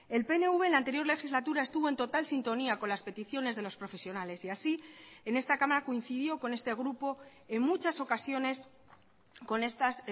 el pnv en la anterior legislatura estuvo en total sintonía con las peticiones de los profesionales y así en esta cámara coincidió con este grupo en muchas ocasiones con estas